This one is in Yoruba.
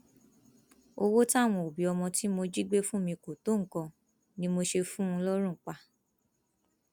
owó táwọn òbí ọmọ tí mo jí gbé fún mi kò tó nǹkan ni mo ṣe fún un lọrùn pa